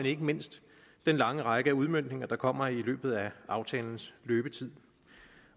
ikke mindst den lange række af udmøntninger der kommer i løbet af aftalens løbetid